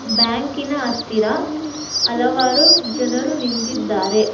ಬ್ಯಾಂಕಿನ ಹತ್ತಿರ ಹಲವಾರು ಜನರು ನಿಂತಿದ್ದಾರೆ.